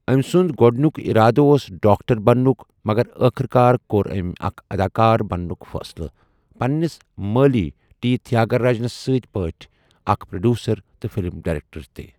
أمۍ سُنٛد گۄڈٕنیُک اِرادٕ اوس ڈاکٹر بننُک، مگر ٲخٕر کار کوٚر أمۍ اکھ اداکار بننُک فٲصلہٕ، پنِنِس مٲلۍ ٹی تھیاگراجنہٕ سٕنٛدۍ پٲٹھۍ، اکھ پروڈیوسر تہٕ فِلم ڈائریکٹر تہِ۔